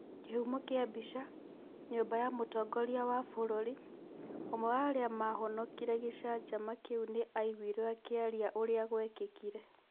Kĩhumo kĩa mbica, Nyũmba ya Mũtongoria wa Bũrũri. Ũmwe wa arĩa maahonokire gĩcanjama kĩu nĩ aaiguirũo akĩaria ũrĩa gwekĩkire.